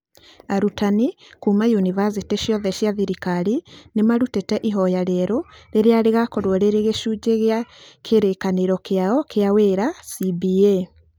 Arutani kuuma yunivasĩtĩ ciothe cia thirikari nĩ marutĩte ihoya rĩerũ rĩrĩa rĩgakorwo rĩrĩ gĩcunjĩ kĩa Kĩrĩĩkanĩro kĩao kĩa Wĩra CBA.